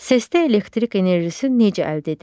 Səslərdə elektrik enerjisi necə əldə edilir?